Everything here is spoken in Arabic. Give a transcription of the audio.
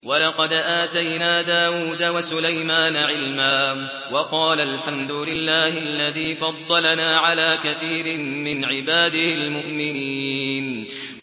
وَلَقَدْ آتَيْنَا دَاوُودَ وَسُلَيْمَانَ عِلْمًا ۖ وَقَالَا الْحَمْدُ لِلَّهِ الَّذِي فَضَّلَنَا عَلَىٰ كَثِيرٍ مِّنْ عِبَادِهِ الْمُؤْمِنِينَ